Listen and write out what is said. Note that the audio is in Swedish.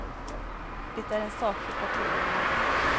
Det är en sak för partierna.